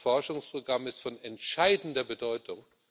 Dieses Forschungsprogramm ist von entscheidender Bedeutung.